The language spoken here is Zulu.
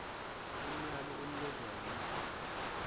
umyalo onikezwe yi